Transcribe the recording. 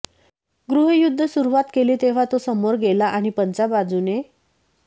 गृहयुद्ध सुरुवात केली तेव्हा तो समोर गेला आणि पंचा बाजूने